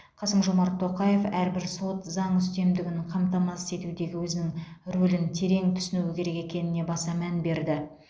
қасым жомарт тоқаев әрбір сот заң үстемдігін қамтамасыз етудегі өзінің рөлін терең түсінуі керек екеніне баса мән берді